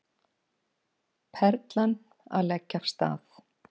Perlan að leggja af stað